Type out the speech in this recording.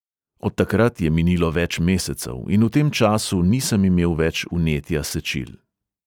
Od takrat je minilo več mesecev in v tem času nisem imel več vnetja sečil.